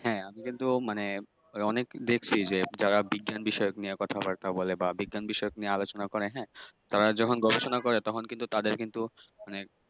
হ্যাঁ আমি কিন্তু মানে অনেক দেখসি যে যারা বিজ্ঞান বিষয় নিয়ে কথাবার্তা বলে বা বিজ্ঞান বিষয়ক নিয়ে আলোচনা করে হ্যাঁ তারা যখন্ গবেষনা করে তখন কিন্তু তাদের কিন্তু